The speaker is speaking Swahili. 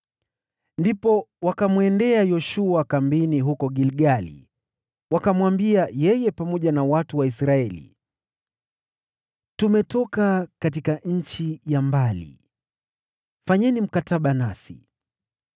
Ndipo wakamwendea Yoshua kambini huko Gilgali wakamwambia yeye pamoja na watu wa Israeli, “Tumetoka katika nchi ya mbali, fanyeni mkataba nasi.”